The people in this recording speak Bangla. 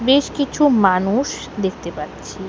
বেশ কিছু মানুষ দেখতে পাচ্ছি।